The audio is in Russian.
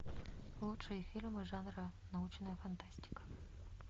лучшие фильмы жанра научная фантастика